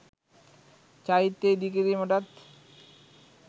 චෛත්‍ය ඉදිකිරීමටත්